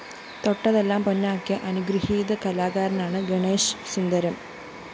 തൊട്ടതെല്ലാം പൊന്നാക്കിയ അനുഗൃഹീത കലാകാരനാണ് ഗണേശ് സുന്ദരം